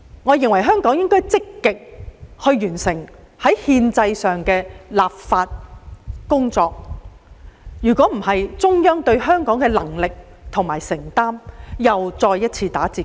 我認為香港政府應積極完成這項憲制上的立法工作，否則中央對港府能力和承擔的印象，必又再次大打折扣。